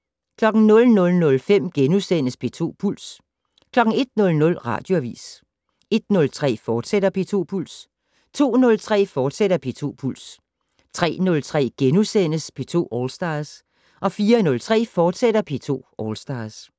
00:05: P2 Puls * 01:00: Radioavis 01:03: P2 Puls, fortsat 02:03: P2 Puls, fortsat 03:03: P2 All Stars * 04:03: P2 All Stars, fortsat